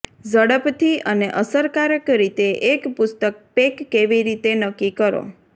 ઝડપથી અને અસરકારક રીતે એક પુસ્તક પેક કેવી રીતે નક્કી કરો